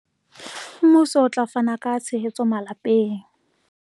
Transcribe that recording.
Mmuso o tla fana ka tshehetso malapeng